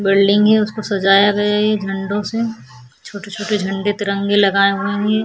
building है उसको सजाया गया है इन झंडो से छोटे - छोटे झंडे तिरंगे लगाए हुए है ये --